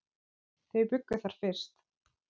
Þau bjuggu þar fyrst.